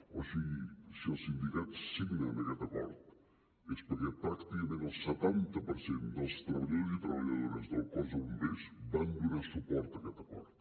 o sigui si els sindicats signen aquest acord és perquè pràcticament el setanta per cent dels treballadors i treballadores del cos de bombers van donar suport a aquest acord